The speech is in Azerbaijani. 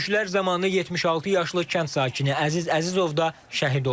Döyüşlər zamanı 76 yaşlı kənd sakini Əziz Əzizov da şəhid oldu.